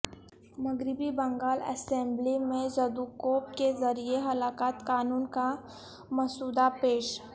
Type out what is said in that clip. مغربی بنگال اسمبلی میں زدوکوب کے ذریعہ ہلاکت قانون کا مسودہ پیش